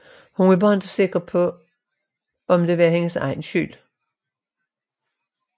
Hun er bare ikke sikker på om det var hendes egen skyld